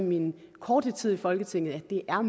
min korte tid i folketinget at det er